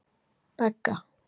Begga